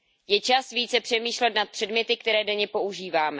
Je čas více přemýšlet nad předměty, které denně používáme.